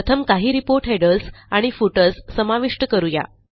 प्रथम काही report headers आणि फुटर्स समाविष्ट करू या